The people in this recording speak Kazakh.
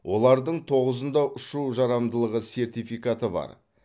олардың тоғызында ұшу жарамдылығы сертификаты бар